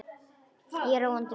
Ég er á róandi lyfjum.